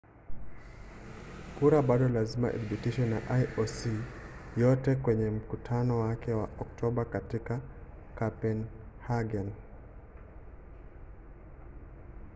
kura bado lazima ithibitishwe na ioc yote kwenye mkutano wake wa oktoba katika kopenhagen